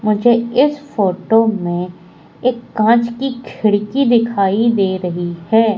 मुझे इस फोटो में एक कांच की खिड़की दिखाई दे रही है।